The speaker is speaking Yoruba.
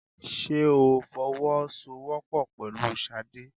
Ṣé o fọwọ́ sọ wọ́pọ̀ pẹ̀lú Ṣadé?